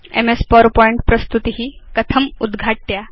MS PowerPoint प्रस्तुति कथम् उद्घाट्या